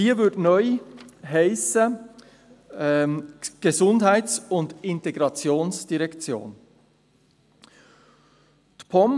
Sie würde neu «Gesundheits- und Integrationsdirektion» heissen.